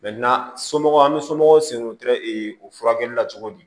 somɔgɔw an bɛ somɔgɔw sen wotoro o furakɛli la cogo di